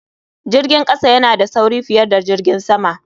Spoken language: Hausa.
Jirgin kasa yana da sauri fiye da jirgin sama.